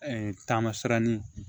taamasiyɛn